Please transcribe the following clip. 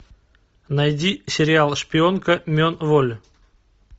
найди сериал шпионка мен воль